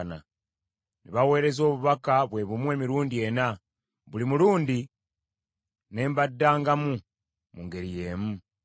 Ne baweereza obubaka bwe bumu emirundi ena, buli mulundi ne mbaddangamu mu ngeri y’emu.